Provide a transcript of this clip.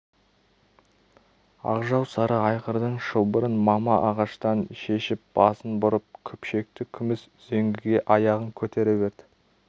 ақжал сары айғырдың шылбырын мама ағаштан шешіп басын бұрып күпшекті күміс үзеңгіге аяғын көтере берді